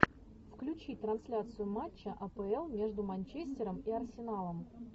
включи трансляцию матча апл между манчестером и арсеналом